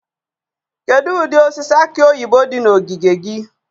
Kedu ụdị osisi aki oyibo dị na ogige gị?